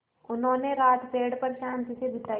उन्होंने रात पेड़ पर शान्ति से बिताई